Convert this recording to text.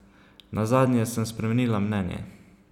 Nazadnje sem spremenila mnenje.